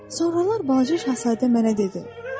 Sonralar balaca şahzadə mənə dedi: